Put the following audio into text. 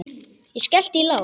Ég skellti í lás.